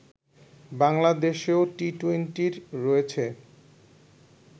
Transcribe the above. বাংলাদেশেও টি-টোয়েন্টির রয়েছে